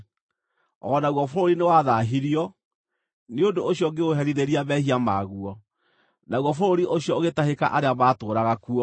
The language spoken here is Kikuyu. O naguo bũrũri nĩwathaahirio; nĩ ũndũ ũcio ngĩũherithĩria mehia maguo, naguo bũrũri ũcio ũgĩtahĩka arĩa maatũũraga kuo.